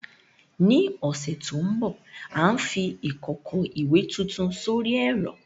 Ní ọ̀sẹ̀ tó ń bọ̀, à ń fi ìkòkò ìwẹ̀ tuntun sórí ẹ̀rọ.